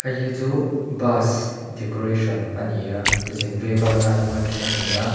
heihi chuh bus decoration a ni a zin vaivak nana an hman thin a ni a.